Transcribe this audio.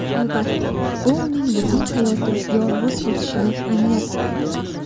Albatta, bu uning butun hayoti yolg‘iz o‘tishini anglatmaydi.